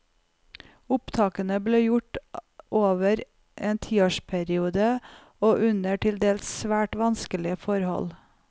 Opptakene ble gjort over en tiårsperiode og under til dels svært vanskelige forhold.